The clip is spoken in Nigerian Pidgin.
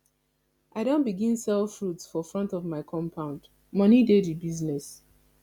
i don begin sell fruit for front of my compound moni dey di business